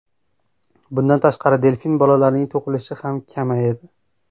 Bundan tashqari, delfin bolalarining tug‘ilishi ham kamaydi.